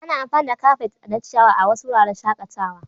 Ana amfani da kafet na ciyawa a wasu wuraren shakatawa.